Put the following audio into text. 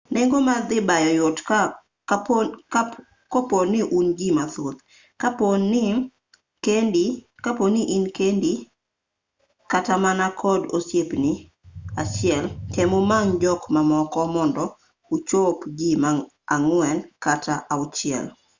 nengo mar dhi bayo yot koponi un ji mathoth kaponi in kendi kata mana kod osiepni achiel tem umany jok mamoko mondo uchop jii ang'wen kata auchiel